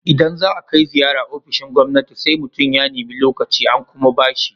Idan za a kai ziyara ofishin gwamnati, sai mutum ya nemi lokaci, an kuma ba shi.